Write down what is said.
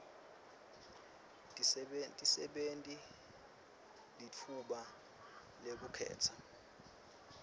tisebenti litfuba lekukhetsa